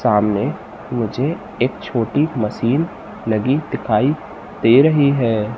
सामने मुझे एक छोटी मशीन लगी दिखाई दे रही है।